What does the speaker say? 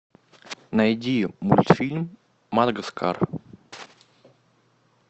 найди мультфильм мадагаскар